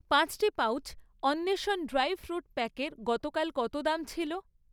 পাঁচটি পাউচ অন্বেষণ dry fruit প্যাকের গতকাল কত দাম ছিল?